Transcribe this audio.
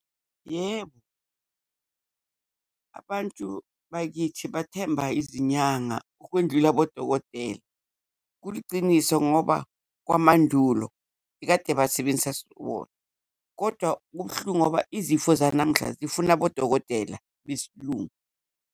Yebo, abantu bakithi bathemba izinyanga ukwendlula abodokotela. Kuliciniso ngoba kwamandulo kade basebenzisa wona, kodwa kubuhlungu ngoba izifo zanamhla zifuna abodokotela besiLungu.